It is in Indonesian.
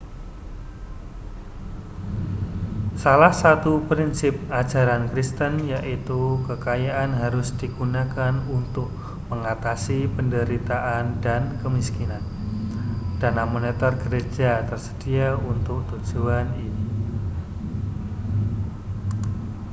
salah satu prinsip ajaran kristen yaitu kekayaan harus digunakan untuk mengatasi penderitaan dan kemiskinan dana moneter gereja tersedia untuk tujuan ini